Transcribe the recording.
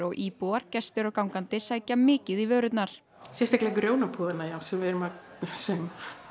íbúar gestir og gangandi sækja mikið í vörurnar sérstaklega grjónapúðana já sem við erum að sauma